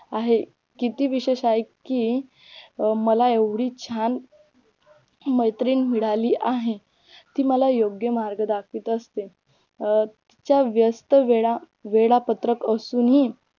आहे किती विशेष आहे की मला एवढी छान मैत्रीण मिळाली आहे ती मला योग्य मार्ग दाखवीत असते अं तिच्या व्येस्थ वेळा वेळापत्रक असून ही